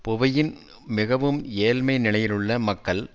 புவியின் மிகவும் ஏழ்மை நிலையிலுள்ள மக்கள்